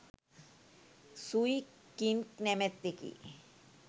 Sui King නමැත්තෙකි.